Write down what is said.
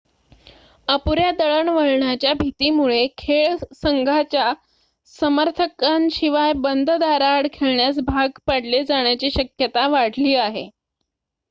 अपुऱ्या दळणवळणाच्या भीतीमुळे खेळ संघाच्या समर्थकांशिवाय बंद दारांआड खेळण्यास भाग पाडले जाण्याची शक्यता वाढली आहे